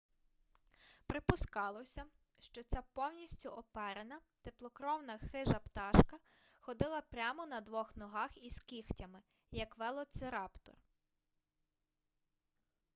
припускалося що ця повністю оперена теплокровна хижа пташка ходила прямо на двох ногах із кігтями як велоцираптор